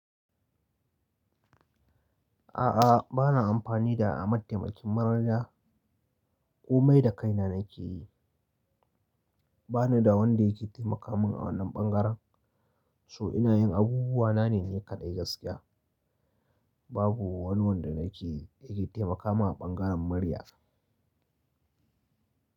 A'a, ba na amfani da mataimakin marar ya. Komai da kaina na ke yi. Ba ni da wanda ya ke taimaka min a wannan bangaren. To ina yin abubuwa na ne ni kadai gaskiya. Babu wani wanda na ke, ya ke taimaka min a bangaren murya.